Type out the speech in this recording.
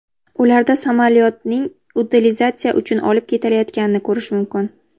Ularda samyolyotning utilizatsiya uchun olib ketilayotganini ko‘rish mumkin.